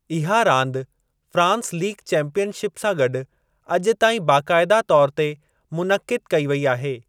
इहा रांदि France league championship सां गॾु अॼु ताईं बाक़ायदा तौर ते मुनइक़िद कई वेई आहे।